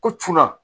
Ko cunna